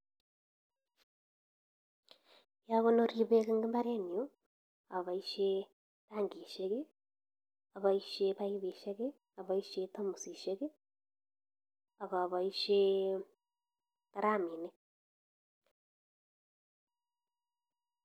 Agonori beek en mbarenyun aboisie: tangishek, aboisie baibusiek, aboisie tamosisiek, ak aboisie tiraminink